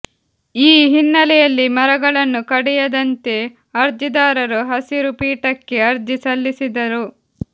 ಈ ಹಿನ್ನಲೆಯಲ್ಲಿ ಮರಗಳನ್ನು ಕಡಿಯದಂತೆ ಅರ್ಜಿದಾರರು ಹಸಿರು ಪೀಠಕ್ಕೆ ಅರ್ಜಿ ಸಲ್ಲಿಸಿದ್ದರು